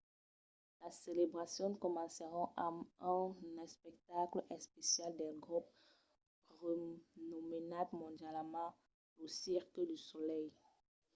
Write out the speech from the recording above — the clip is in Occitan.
las celebracions comencèron amb un espectacle especial del grop renomenat mondialament lo cirque du soleil